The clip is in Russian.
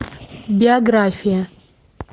биография